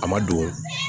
A ma don